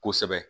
Kosɛbɛ